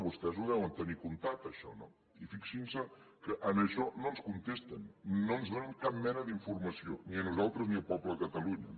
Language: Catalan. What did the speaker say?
vostès ho deuen tenir comptat això no i fixin se que en això no ens contesten no ens donen cap mena d’informació ni a nosaltres ni al poble de catalunya